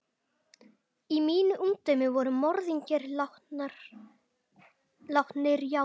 Í mínu ungdæmi voru morðingjar látnir játa.